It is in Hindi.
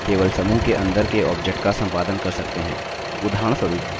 केवल समूह के अंदर के objects का सम्पादन कर सकते हैं